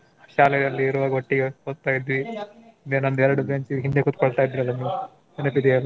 ಶಾಲೆಯಲ್ ಇರೋವಾಗ್ ಒಟ್ಟಿಗೆ ಓದ್ತಾ ಇದ್ವಿ. ಎರ್ಡ್ bench ಹಿಂದೆ ಕೂತ್ಕೊಳ್ತಾ ಇದ್ರಲ್ಲ ನೀವು. ನೆನಪಿದ್ಯ ಎಲ್ಲಾ?